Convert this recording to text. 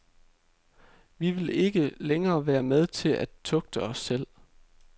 Vi vil ikke længere være med til at tugte os selv.